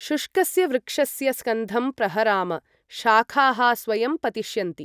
शुष्कस्य वृक्षस्य स्कन्धं प्रहराम, शाखाः स्वयं पतिष्यन्ति।